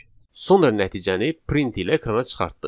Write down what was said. Sonra nəticəni print ilə ekrana çıxartdıq.